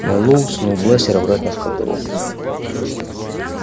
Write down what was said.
мэллоу сунул бластер обратно в кобуру